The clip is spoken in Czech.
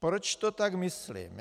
Proč to tak myslím?